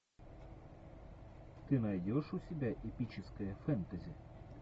ты найдешь у себя эпическое фэнтези